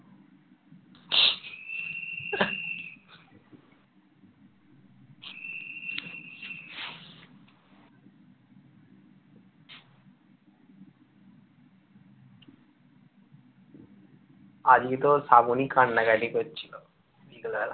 আজকে তো শ্রাবণী কান্নাকাটি করছিল বিকেল বেলা